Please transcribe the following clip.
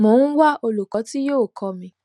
mo ń wá olùkọ tí yóò kọ mi